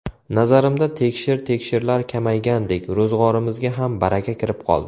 Nazarimda, tekshir-tekshirlar kamaygandek, ro‘zg‘orimizga ham baraka kirib qoldi.